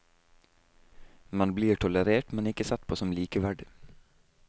Man blir tolerert, men ikke sett på som likeverdig.